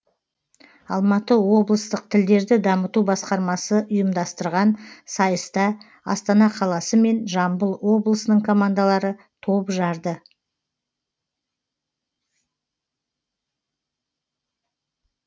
алматы облыстық тілдерді дамыту басқармасы ұйымдастырған сайыста астана қаласы мен жамбыл облысының командалары топ жарды